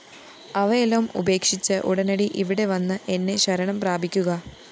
അവയെല്ലാം ഉപേക്ഷിച്ച് ഉടനടി ഇവിടെ വന്ന് എന്നെ ശരണം പ്രാപിക്കുക